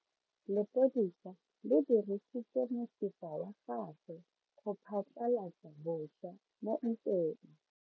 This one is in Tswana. Lepodisa le dirisitse mosifa wa gagwe go phatlalatsa batšha mo ntweng.